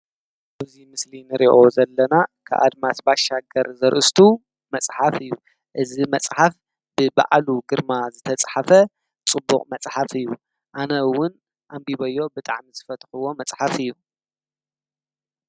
ብዙይ ምስሊን ርእኦ ዘለና ክኣድማስ ባሻገር ዘርእስቱ መጽሓፍ እዩ። እዝ መጽሓፍ ብበዕሉ ግርማ ዝተጽሓፈ ጽቡቕ መጽሓፍ እዩ ኣነውን ኣንቢበዮ ብጣዕ ምስ ፈትሕዎ መጽሓፍ እዩ።